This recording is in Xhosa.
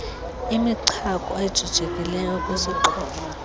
imichako ejijekileyo ekwisixhobo